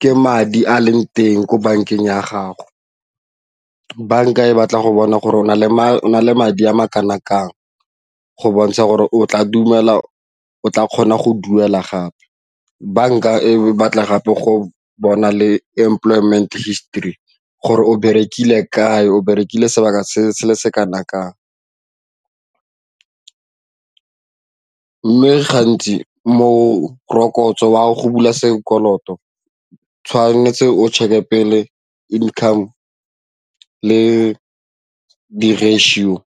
ka madi a leng teng ko bankeng ya gago ke banka e batla go bona gore o na le na le madi a makana kang go bontsha gore o tla dumela o tla kgona go duela gape banka e batla gape go bona le employment histori gore o berekile kae o berekile sebaka se se kana kang. Gantsi morokotso wa go bula sekoloto o tshwanetse o check-e pele income le di-ratio.